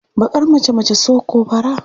Baƙar mace mace so ko fara?